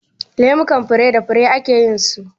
Lemukan fure da fure ake yin su.